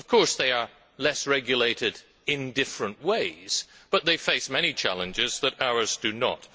Of course they are less regulated in different ways, but they face many challenges that ours do not.